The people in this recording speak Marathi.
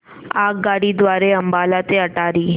आगगाडी द्वारे अंबाला ते अटारी